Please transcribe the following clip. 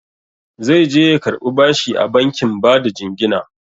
Zaije ya karɓi bashi a bankin bada jingina.